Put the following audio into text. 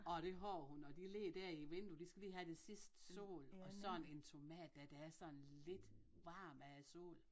Og det har hun og de ligger der i vindue de skal lige have det sidste sol og sådan en tomat dér der er sådan lidt varm af sol